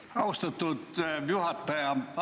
Aitäh, austatud juhataja!